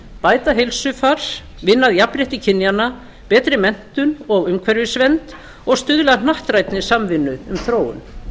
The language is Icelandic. bæta heilsufar vinna að jafnrétti kynjanna betri menntun og umhverfisvernd og stuðla að hnattrænni samvinnu um þróun